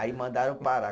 Aí mandaram parar.